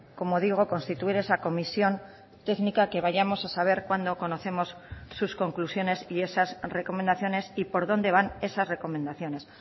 como digo constituir esa comisión técnica que vayamos a saber cuándo conocemos sus conclusiones y esas recomendaciones y por dónde van esas recomendaciones